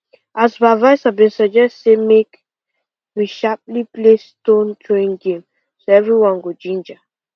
our supervisor been suggest say make we sharply play stone throwing game so every one go ginger